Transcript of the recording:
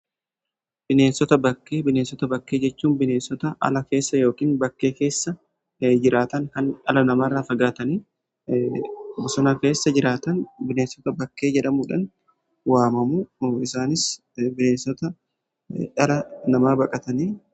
Bineensota bakkee bineensota bakkee jechuun bineensota ala keessa yookiin bakkee keessa jiraatan kan dhala namaarraa fagaatanii bosona keessa jiraatan bineensota bakkee jedhamuudhan waamamu. Isaanis bineensota dhala namaa baqataniidha.